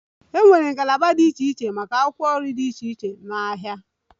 E nwere ngalaba dị iche iche maka akwụkwọ nri dị iche iche n'ahịa.